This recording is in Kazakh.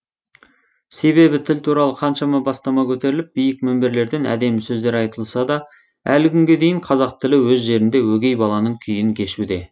себебі тіл туралы қаншама бастама көтеріліп биік мінберлерден әдемі сөздер айтылса да әлі күнге дейін қазақ тілі өз жерінде өгей баланың күйін кешуде